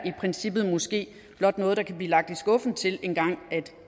i princippet måske blot noget der kan blive lagt i skuffen til engang